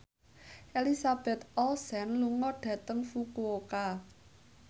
Elizabeth Olsen lunga dhateng Fukuoka